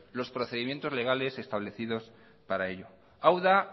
los procedimientos legales establecidos para ello hau da